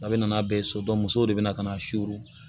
A bɛ na n'a bɛɛ ye so musow de bɛ na ka na